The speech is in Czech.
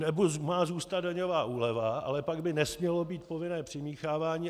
Anebo má zůstat daňová úleva, ale pak by nesmělo být povinné přimíchávání.